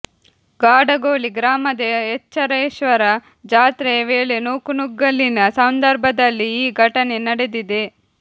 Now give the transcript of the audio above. ಗಾಡಗೋಳಿ ಗ್ರಾಮದ ಎಚ್ಚರೇಶ್ವರ ಜಾತ್ರೆಯ ವೇಳೆ ನೂಕುನುಗ್ಗಲಿನ ಸಂದರ್ಭದಲ್ಲಿ ಈ ಘಟನೆ ನಡೆದಿದೆ